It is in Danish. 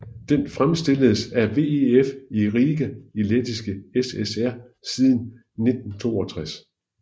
Den fremstilledes af VEF i Riga i Lettiske SSR siden 1962